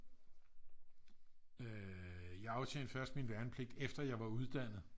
jeg aftjente først min værnepligt efter jeg var uddannet